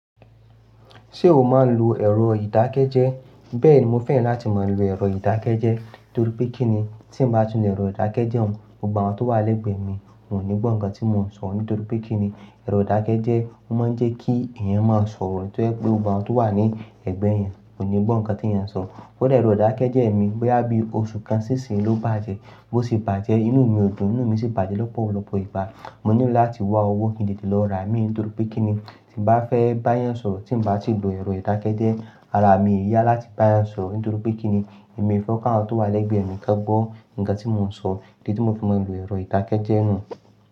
Ṣé o máa ń lo ẹ̀rọ ìdákẹ́jẹ́? Bẹ́ẹ̀ni, mo fẹ́ràn láti máa lo ẹ̀rọ ìdákẹ́jẹ́. Nítorí pé kí ni, tí mo bá tun èrọ ìdákẹ́jẹ́ nù, gbogbo àwọn tó wà lẹ́gbẹ̀ẹ́ mi wọ́n ò ní gbọ́ nǹkan tí mo ń sọ nítorí pé kí ni, ẹ̀rọ ìdákẹ́jẹ́ ó máa ń jẹ́ kí ẹ̀yàn máa sọ̀rọ̀ tó ẹ́ pé gbogbo àwọn tó wà ní ẹ̀gbẹ́ ẹ̀ yẹn ò ní gbọ́ nǹkan tí ẹ̀yàn ń sọ. Kódà ẹ̀rọ ìdákẹ́jẹ́ mi boya bí oṣù kan sí ìsinlóbàjẹ́, bó ti bàjẹ́ inú mi ò dùn, inú mi sì bàjẹ́ lọ́pọ̀lọpọ̀ ìgbá. Mo nílò láti wá owó kin jẹ́kí tì lọ ra ẹ̀mí, nítorí pé kí ni tí mo bá fẹ́ bá yẹn sọ̀rọ̀ tí mo bá ti lo ẹ̀rọ ìdákẹ́jẹ́, ara mi yá láti bá yẹn sọ̀rọ̀, nítorí pé kí ni, èmi fẹ́ kí àwọn tó wà lẹ́gbẹ̀ẹ́ mi ká gbọ́ nǹkan tí mo ń sọ. Kíni tí mo fi máa lo ẹ̀rọ ìdákẹ́jẹ́ náà?